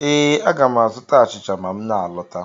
Ee, aga m azụta achịcha ma m na alọta.